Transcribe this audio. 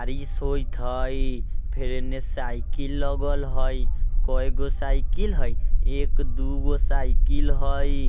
आर इ सोइत हई फिर इन्ने साइकिल लगल हई कोय गो साइकिल हई एक दुगो साइकिल हई।